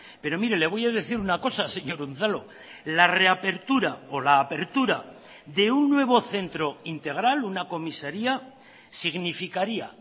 pero mire le voy a decir una cosa señor unzalu la reapertura o la apertura de un nuevo centro integral una comisaría significaría